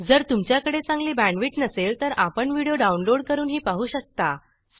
जर तुमच्याकडे चांगली बॅंडविड्त नसेल तर आपण व्हिडिओ डाउनलोड करूनही पाहू शकता